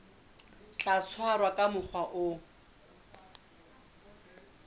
tla tshwarwa ka mokgwa o